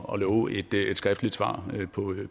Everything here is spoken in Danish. og love et skriftligt svar